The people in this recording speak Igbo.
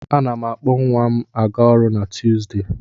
A na m akpọ nwa m a ga-ọrụ na Tuuzdee.